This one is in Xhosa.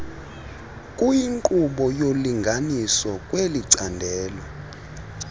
kuyinqobo yolinganiso kwelicandelo